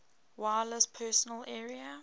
wireless personal area